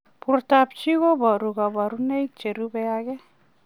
Portoop chitoo kobaruu kabarunaik cherubei ak